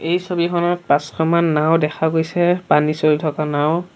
এই ছবিখনত পাঁচখনমান নাওঁ দেখা গৈছে পানী চলি থকা নাওঁ।